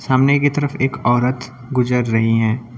सामने की तरफ एक औरत गुजर रही हैं।